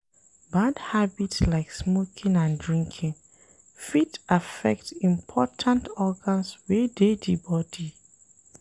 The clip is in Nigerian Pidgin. Bad habit like smoking and drinking fit affect important organs wey dey di body